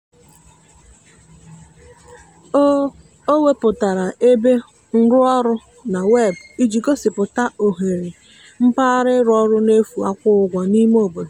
o o wepụtara ebe nrụọrụ na weebụ iji gosipụta ohere mpaghara ịrụ ọrụ n'efu akwụghị ụgwọ n'ime obodo.